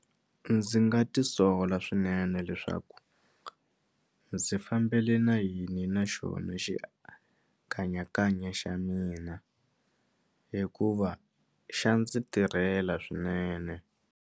Ndzi nga ti sola swinene leswaku ndzi fambele na yini na xona xikanyakanya xa mina hikuva xa ndzi tirhela swinene.